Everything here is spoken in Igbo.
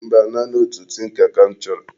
Mba, naanị otu tinka ka m choro.